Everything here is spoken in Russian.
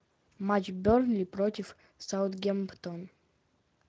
матч бернли против саутгемптон